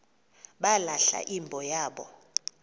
balahla imbo yabo